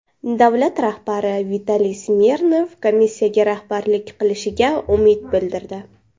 Davlat rahbari Vitaliy Smirnov komissiyaga rahbarlik qilishiga umid bildirdi.